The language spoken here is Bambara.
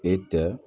E tɛ